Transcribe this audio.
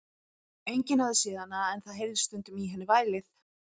Enginn hafði séð hana, en það heyrðist stundum í henni vælið.